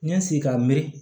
N ye n sigi k'a miiri